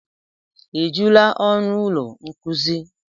Ejula ọnụ ụlọ nkuzi?